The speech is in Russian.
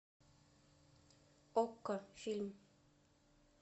окко фильм